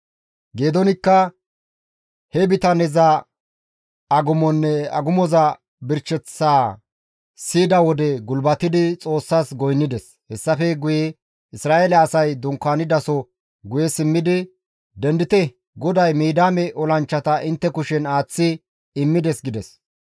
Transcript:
Geedoonikka he bitaneza agumonne agumozanne birsheththaa siyida wode gulbatidi Xoossas goynnides; hessafe guye Isra7eele asay dunkaanidaso guye simmidi, «Dendite! GODAY Midiyaame olanchchata intte kushen aaththi immides» gides.